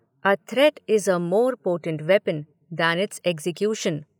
A threat is a more potent weapon than its execution.